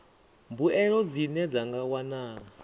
mbuelo dzine dza nga wanala